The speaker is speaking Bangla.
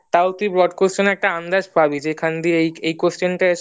তাও তু্ই broad question এর একটা আন্দাজ পাবি যে এখান দিয়ে এই question টা আসলে